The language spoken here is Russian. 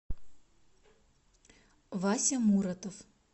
вася муротов